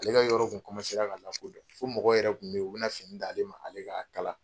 Ale ka yɔrɔ kun komansera ka lakodɔn fo mɔgɔ yɛrɛ kun b'yen u bɛna fini d'ale ma ale ka kala.